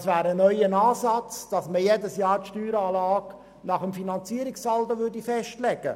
Das wäre ein neuer Ansatz, in jedem Jahr die Steueranlage nach dem Finanzierungssaldo festzulegen.